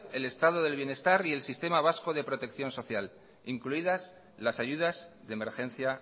el estado del bienestar y el sistema vasco de protección social incluidas las ayudas de emergencia